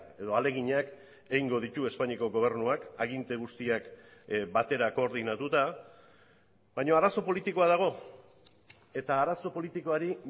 edo ahaleginak egingo ditu espainiako gobernuak aginte guztiak batera koordinatuta baina arazo politikoa dago eta arazo politikoari